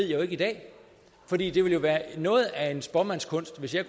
jo ikke i dag for det ville jo være noget af en spåmandskunst hvis jeg